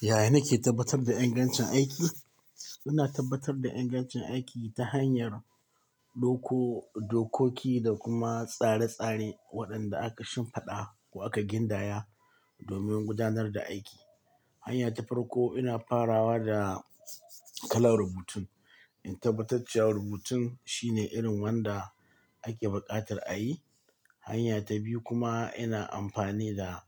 Yaya nake tabbatar da ingancin aiki? Ina tabbatar da ingancin aiki ta hanyar doko-dokoki da kuma tsare-tsare waɗanda aka shimfiɗa ko aka gindaya domin gudanar da aiki. Hanya ta farko ina farawa da kalan rubutun. In tabbatar cewa rubutun shine irin wanda ake bukatar a yi. Hanya ta biyu kuma ina amfani da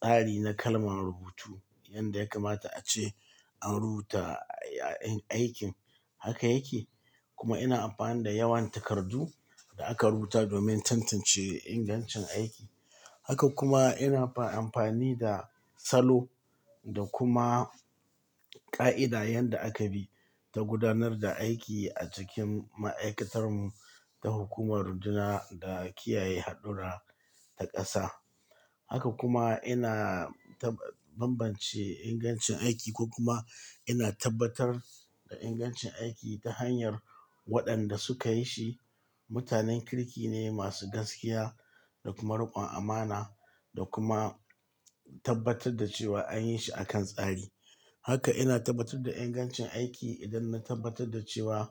tsari na kalman rubutu yanda ya kamata ace an rubuta aikin. Haka yake, kuma ina amfani da yawan takardu da aka rubuta domin tantance ingancin aiki. Haka kuma ina fa-amfani da salo da kuma ƙa'ida yanda aka bi dan gudanar da aiki a cikin ma'aikatar mu ta hukumar runduna da kiyaye hadura ta ƙasa. Haka kuma ina tab-bambance ingancin aiki ko kuma ina tabbatar da ingancin aiki ta hanyar waɗanda suka yi shi. Mutanen kirki ne masu gaskiya da kuma riƙon amana da kuma tabbatar da cewa an yi shi a kan tsari. Haka ina tabbatar da ingancin aiki idan na tabbatar da cewa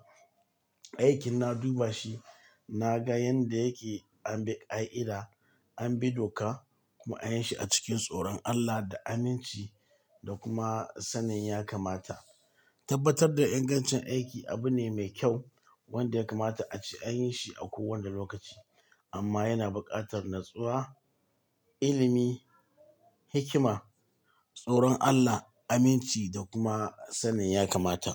aikin na duba shi, na ga yanda yake, an bi ƙa'ida, an bi doka kuma an yi shi a cikin tsoron Allah da aminci da kuma sanin ya kamata. Tabbatar da ingancin aiki abu ne mai kyau wanda ya kamata ace an yi shi a kowane lokaci. Amma yana bukatar natsuwa, ilimi, hikima, tsoron Allah, aminci da kuma sanin ya kamata.